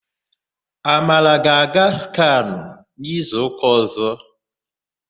Amara ga-aga skanụ n'izuụka ọ̀zọ́.